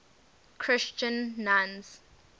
christian nuns